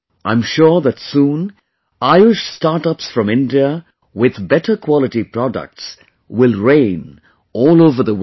I am sure that soon, Ayush StartUps from India with better quality products will reign all over the world